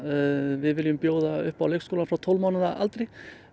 við viljum bjóða upp á leikskóla frá tólf mánaða aldri